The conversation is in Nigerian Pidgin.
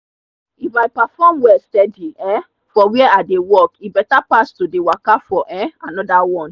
if i perform well steady um for where i dey work e better pass to dey waka for um another one.